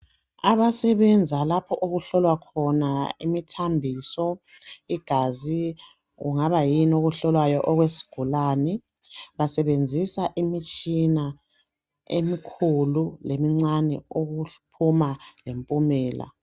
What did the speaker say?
Abasebenza lapho okuhlolwa khona imithambiso ,igazi kungabayini okuhlolwayo okwesigulane basebenzisa imitshina emikhulu lemincane ukuphuma lempumela.